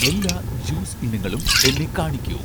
എല്ലാ ജ്യൂസ് ഇനങ്ങളും എന്നെ കാണിക്കൂ